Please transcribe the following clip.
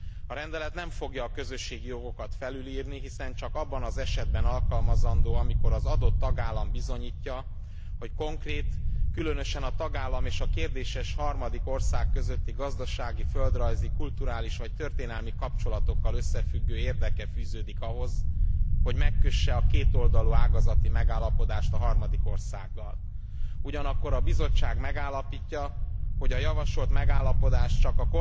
A rendelet nem fogja a közösségi jogokat felülírni, hiszen csak abban az esetben alkalmazandó, amikor az adott tagállam bizonyítja, hogy konkrét, különösen a tagállam és a kérdéses harmadik ország közötti gazdasági, földrajzi, kulturális vagy történelmi kapcsolatokkal összefüggő érdeke fűződik ahhoz, hogy megkösse a kétoldalú ágazati megállapodást a harmadik országgal. Ugyanakkor a Bizottság megállapítja, hogy a javasolt megállapodás csak